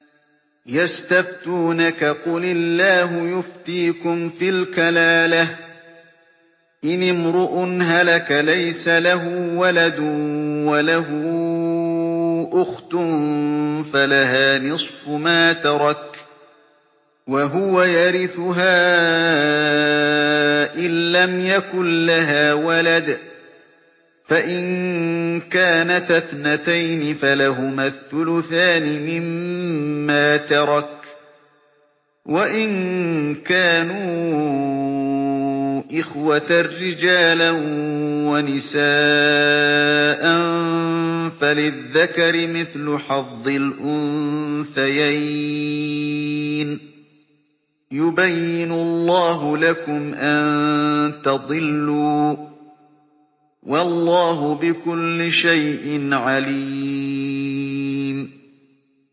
يَسْتَفْتُونَكَ قُلِ اللَّهُ يُفْتِيكُمْ فِي الْكَلَالَةِ ۚ إِنِ امْرُؤٌ هَلَكَ لَيْسَ لَهُ وَلَدٌ وَلَهُ أُخْتٌ فَلَهَا نِصْفُ مَا تَرَكَ ۚ وَهُوَ يَرِثُهَا إِن لَّمْ يَكُن لَّهَا وَلَدٌ ۚ فَإِن كَانَتَا اثْنَتَيْنِ فَلَهُمَا الثُّلُثَانِ مِمَّا تَرَكَ ۚ وَإِن كَانُوا إِخْوَةً رِّجَالًا وَنِسَاءً فَلِلذَّكَرِ مِثْلُ حَظِّ الْأُنثَيَيْنِ ۗ يُبَيِّنُ اللَّهُ لَكُمْ أَن تَضِلُّوا ۗ وَاللَّهُ بِكُلِّ شَيْءٍ عَلِيمٌ